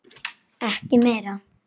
Ekki meira.